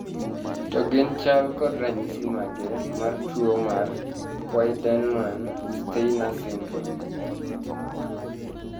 To gin chal kod ranyisi mage mar tuo nmar Wiedemann Steiner syndrome?